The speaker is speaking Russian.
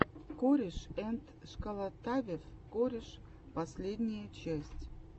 корешэндшколотавев кореш последняя часть